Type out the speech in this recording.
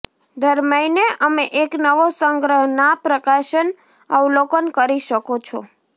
દર મહિને અમે એક નવો સંગ્રહ ના પ્રકાશન અવલોકન કરી શકો છો